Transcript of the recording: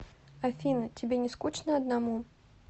афина тебе не скучно одному